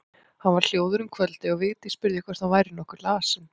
Hann var hljóður um kvöldið og Vigdís spurði hvort hann væri nokkuð lasinn.